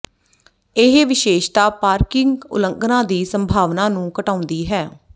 ਇਹ ਵਿਸ਼ੇਸ਼ਤਾ ਪਾਰਕਿੰਗ ਉਲੰਘਣਾ ਦੀ ਸੰਭਾਵਨਾ ਨੂੰ ਘਟਾਉਂਦੀ ਹੈ